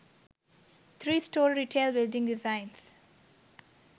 three story retail building designs